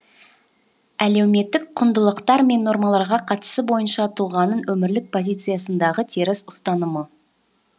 әлеуметтік құндылықтар мен нормаларға қатысы бойынша тұлғаның өмірлік позициясындағы теріс ұстанымы